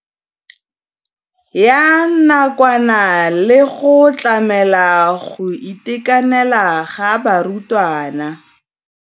Ya nakwana le go tlamela go itekanela ga barutwana.